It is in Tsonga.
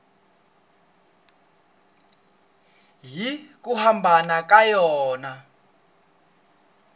hi ku hambana ka yona